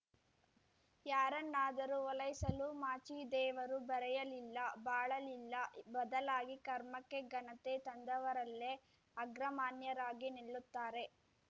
ಯಾರನ್ನಾದರೂ ಓಲೈಸಲು ಮಾಚಿದೇವರು ಬರೆಯಲಿಲ್ಲ ಬಾಳಲಿಲ್ಲ ಬದಲಾಗಿ ಕರ್ಮಕ್ಕೆ ಘನತೆ ತಂದವರಲ್ಲೇ ಅಗ್ರಮಾನ್ಯರಾಗಿ ನಿಲ್ಲುತ್ತಾರೆ